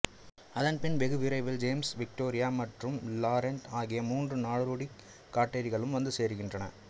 அதன் பின் வெகுவிரைவில் ஜேம்ஸ் விக்டோரியா மற்றும் லாரென்ட் ஆகிய மூன்று நாடோடிக் காட்டேரிகளும் வந்து சேருகின்றன